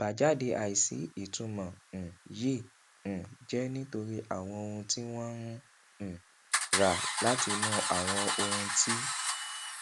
àbájáde àìsí ìtumọ um yìí um jẹ nítorí àwọn ohun tí wọn ń um ra látinú àwọn ohun tí